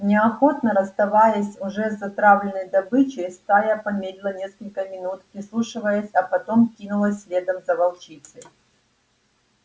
неохотно расставаясь с уже затравленной добычей стая помедлила несколько минут прислушиваясь а потом кинулась следом за волчицей